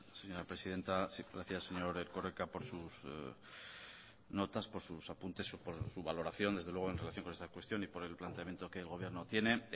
señora presidenta sí gracias señor erkoreka por sus notas por sus apuntes por su valoración desde luego en relación con esta cuestión y por el planteamiento que el gobierno tiene